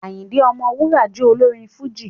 Àyìndé Ọmọwúrà jẹ́ olórin Fújì